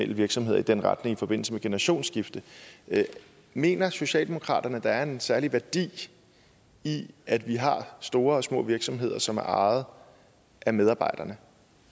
virksomheder i den retning i forbindelse med generationsskifte mener socialdemokraterne at der er en særlig værdi i at vi har store og små virksomheder som er ejet af medarbejderne